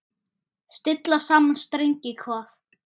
Stilla saman strengi hvað?